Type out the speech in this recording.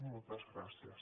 moltes gràcies